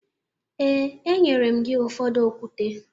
Ee, enyere m gị ụfọdụ okwute